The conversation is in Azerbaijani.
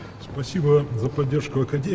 Akademiyaya dəstəyə görə çox sağ olun.